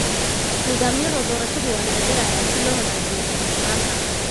Nidaamyada doorashada waa la bedelayaa si loo hagaajiyo daahfurnaanta.